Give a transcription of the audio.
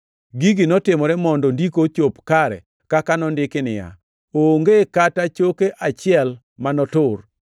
Gigi notimore mondo Ndiko ochop kare kaka nondiki niya, “Onge kata choke achiel ma notur.” + 19:36 \+xt Wuo 12:46; Kwa 9:12; Zab 34:20\+xt*